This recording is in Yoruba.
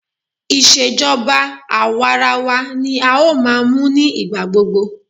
Ìṣèjọba àwarawa ní a ó máa mú ní ìgbà gbogbo.